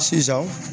Sisan